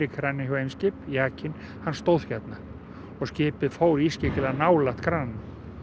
kraninn hjá Eimskip jakinn hann stóð hérna og skipið fór ískyggilega nálægt krananum